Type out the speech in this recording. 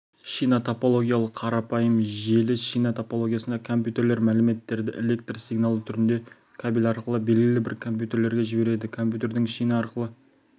шина топологиялы қарапайым желі шина топологиясында компьютерлер мәліметтерді электр сигналы түрінде кабель арқылы белгілі бір компьютерге жібереді компьютердің шина арқылы